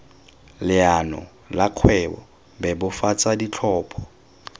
leano la kgwebo bebofatsa ditlhopho